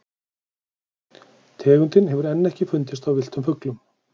tegundin hefur enn ekki fundist á villtum fuglum